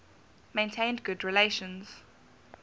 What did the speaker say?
maintained good relations